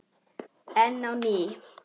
Enn á ný